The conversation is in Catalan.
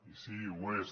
i sí ho és